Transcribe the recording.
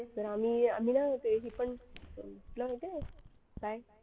तर आम्ही ना आम्ही ते हे पण